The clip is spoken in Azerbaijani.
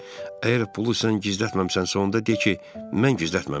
Əgər pulu sən gizlətməmisənsə, onda de ki, mən gizlətməmişəm.